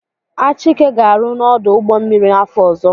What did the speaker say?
Achike ga-arụ n'ọdụ ụgbọmmiri afọ ọzọ.